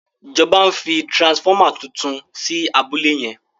ìjọba ń fí transformer títún sí abúlé yen.